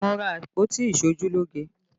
Mo ra àpótí iṣojúlógé